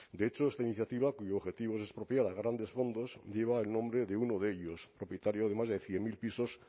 de hecho esta iniciativa cuyo objetivo es expropiar a grandes fondos lleva el nombre de uno de ellos propietario de más de cien mil pisos